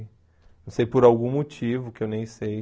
Não sei por algum motivo, que eu nem sei.